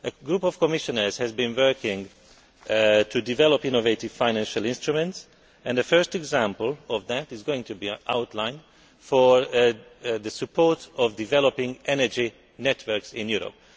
A group of Commissioners has been working to develop innovative financial instruments. The first example of this is going to be an outline for supporting developing energy networks in Europe.